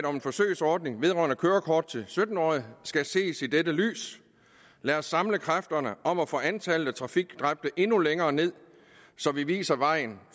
om en forsøgsordning vedrørende kørekort til sytten årige skal ses i dette lys lad os samle kræfterne om at få antallet af trafikdræbte endnu længere ned så vi viser vejen